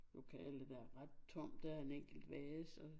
Lokale der er ret tomt der er en enkelt vase